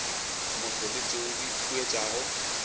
motho le tšeo di huetšago